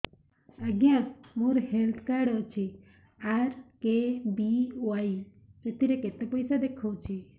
ଆଜ୍ଞା ମୋର health card ଅଛି ଆର୍.କେ.ବି.ୱାଇ ସେଥିରେ କେତେ ପଇସା ଦେଖଉଛି